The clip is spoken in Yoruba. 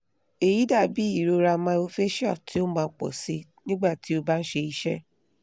eyi dabi irora myofascial ti o maa pọ sii nigba ti o ba n ṣe iṣe